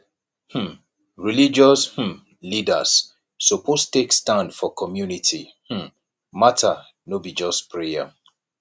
um religious um leaders suppose take stand for community um matter no be just prayer